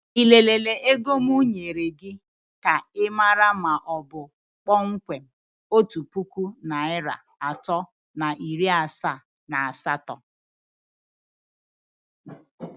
Ị lelere ego m nyere gị ka ịmara ma ọ bụ kpọmkwem otu puku naịra atọ na iri asaa na asatọ?